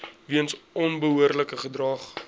weens onbehoorlike gedrag